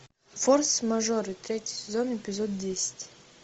форс мажоры третий сезон эпизод десять